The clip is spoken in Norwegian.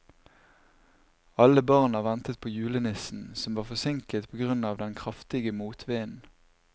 Alle barna ventet på julenissen, som var forsinket på grunn av den kraftige motvinden.